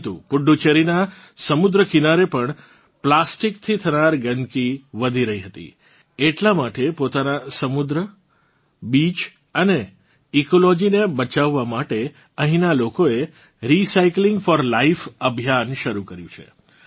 પરંતુ પુડુચેરીનાં સમુદ્ર કિનારેપણ પ્લાસ્ટિક થી થનાર ગંદકી વધી રહી હતી એટલાં માટે પોતાનાં સમુદ્ર બીચીસ અને ઇકોલોજી ને બચાવવા માટે અહીંનાં લોકોએ રીસાયકલિંગ ફોર લાઇફ અભિયાન શરૂ કર્યું છે